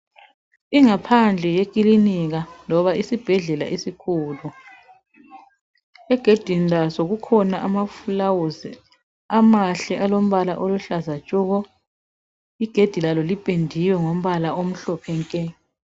Ingaphandle yekilinika loba isibhedlela esikhulu. Egedini laso kukhona amafulawuzi amahle alombala oluhlaza tshoko. Igedi lalo lipendiwe ngombala omhlophe nke.